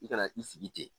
I kana i sigi ten